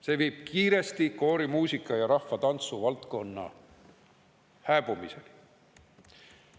See viib kiiresti koorimuusika‑ ja rahvatantsuvaldkonna hääbumiseni.